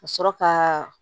Ka sɔrɔ ka